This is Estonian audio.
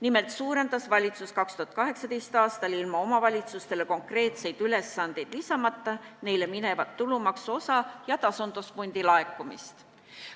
Nimelt suurendas valitsus 2018. aastal ilma omavalitsustele konkreetseid ülesandeid lisamata neile minevat tulumaksuosa ja tasandusfondi raha laekumist.